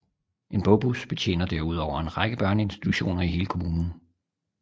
En bogbus betjener derudover en række børneinstitutioner i hele kommunen